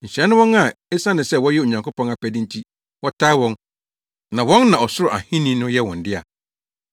Nhyira ne wɔn a esiane sɛ wɔyɛ Onyankopɔn apɛde nti, wɔtaa wɔn, na wɔn na Ɔsoro Ahenni no yɛ wɔn dea.